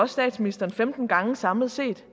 statsministeren femten gange samlet set